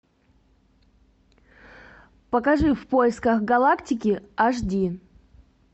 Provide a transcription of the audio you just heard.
покажи в поисках галактики аш ди